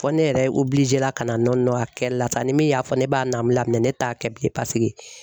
Fɔ ne yɛrɛ la ka na a kɛlila sa ni min y'a fɔ ne b'a namun laminɛ ne t'a kɛ bilen paseke